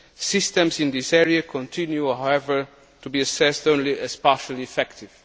Systems in this area continue, however, to be assessed as only partially effective.